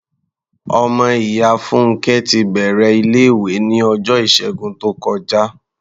Ọmọ ìyá Fúnnkẹ́ ti bẹ̀rẹ̀ ilé-ìwé ní ọjọ́ Ìṣẹ́gun tó kọjá.